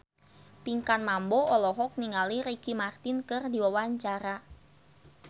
Pinkan Mambo olohok ningali Ricky Martin keur diwawancara